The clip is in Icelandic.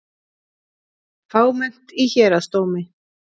Fámennt í Héraðsdómi